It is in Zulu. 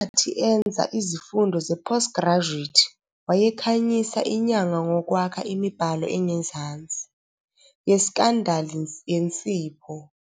Ngenkathi enza izifundo ze-post graduate wayekhanyisa inyanga ngokwakha imibhalo engezansi "yeScandal yensipho!".